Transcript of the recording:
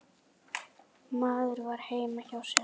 Maður var heima hjá sér.